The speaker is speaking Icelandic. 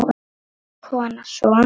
Kona: Svona?